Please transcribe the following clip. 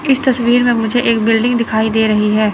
इस तस्वीर में मुझे एक बिल्डिंग दिखाई दे रही है।